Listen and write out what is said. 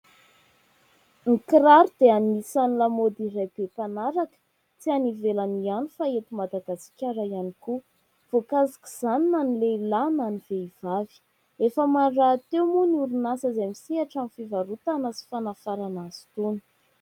Ny kiraro dia anisan'ny lamaody iray be mpanaraka, tsy any ivelany ihany fa eto Madagasikara ihany koa, voakasika izany na ny lehilahy na ny vehivavy ; efa maro rahateo moa ny orinasa izay misehatra amin'ny fivarotana sy fanafarana azy itony.